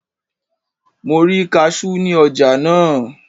Mo rí kasú ní ọjà náà.